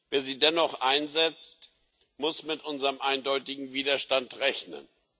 Wer sie dennoch einsetzt, muss mit unserem eindeutigen Widerstand rechnen.